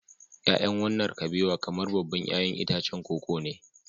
Ya'yan wannan kabewa kamar babban 'ya'yan itacen koko ne